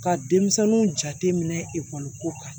Ka denmisɛnninw jate minɛ ekɔli ko kan